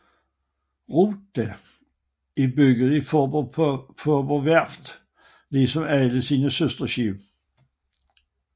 Rota er bygget på Faaborg Værft ligesom alle sine søsterskibe